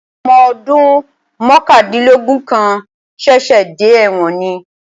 Ọmọ ọdún mọ̀kàndínlógún kan ṣẹ̀ṣẹ̀ dé ẹ̀wọ̀n ni